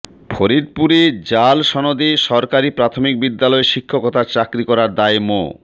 ফরিদপুরে জাল সনদে সরকারি প্রাথমিক বিদ্যালয়ে শিক্ষকতার চাকরি করার দায়ে মো